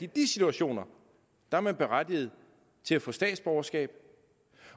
de situationer er man berettiget til at få statsborgerskab